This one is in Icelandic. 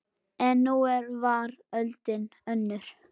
En nú var öldin önnur.